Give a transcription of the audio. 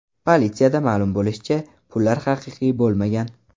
Politsiyada ma’lum bo‘lishicha, pullar haqiqiy bo‘lmagan.